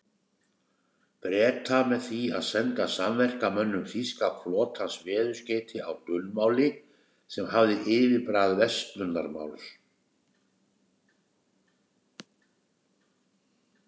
Breta með því að senda samverkamönnum þýska flotans veðurskeyti á dulmáli, sem hafði yfirbragð verslunarmáls.